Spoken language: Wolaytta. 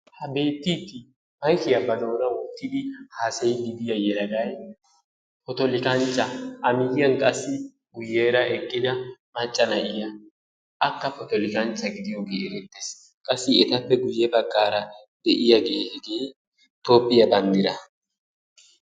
Ha beettiidi maykkiyaa ba doonan wottidi haasayidi diya yelagay potolikanchcha. A miyiyan qassi eqqida macca na'iyaa akka potolikanchcha gidiyoge erettees. Qassi etappe guye baggaara deiyage hegee toophiyaa banddiraa.